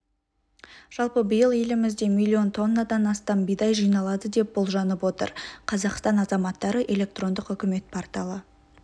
жалпы биыл елімізде млн тоннадан астам бидай жиналады деп болжанып отыр қазақстан азаматтары электрондық үкімет порталы